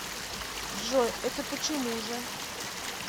джой это почему же